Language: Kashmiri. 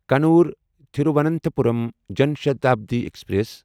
کنور تھیرواننتھاپورم جان شتابڈی ایکسپریس